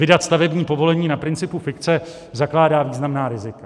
Vydat stavební povolení na principu fikce zakládá významná rizika.